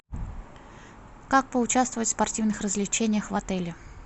как поучаствовать в спортивных развлечениях в отеле